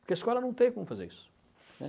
Porque a escola não tem como fazer isso, né.